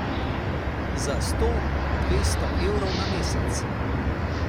Za sto, dvesto evrov na mesec.